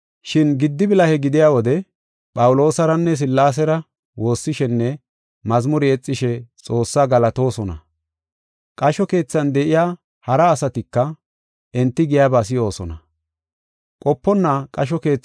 Shin giddi bilahe gidiya wode Phawuloosaranne Sillaasera woossishenne mazmure yexishe Xoossaa galatoosona. Qasho keethan de7iya hara asatika enti giyaba si7oosona. Phawuloosinne Silaasey Duxetidi De7ishin